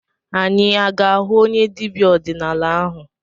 Anyị aga-ahụ onye dibịa ọdịnala ahụ?